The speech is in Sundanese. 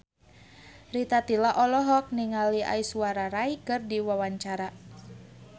Rita Tila olohok ningali Aishwarya Rai keur diwawancara